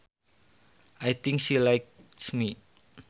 I think she likes me